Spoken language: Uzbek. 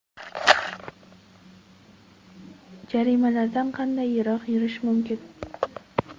Jarimalardan qanday yiroq yurish mumkin?.